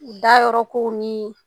Dayɔrɔ kow ni